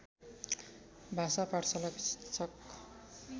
भाषा पाठशालाका शिक्षक